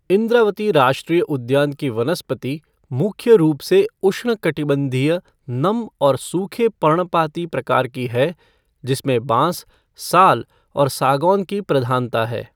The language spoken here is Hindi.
इंद्रावती राष्ट्रीय उद्यान की वनस्पति मुख्य रूप से उष्णकटिबंधीय नम और सूखे पर्णपाती प्रकार की है जिसमें बांस, साल और सागौन की प्रधानता है।